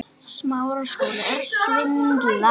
Svo tók alvaran við.